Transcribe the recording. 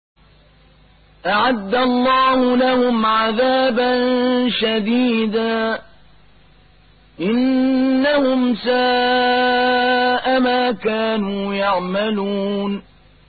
أَعَدَّ اللَّهُ لَهُمْ عَذَابًا شَدِيدًا ۖ إِنَّهُمْ سَاءَ مَا كَانُوا يَعْمَلُونَ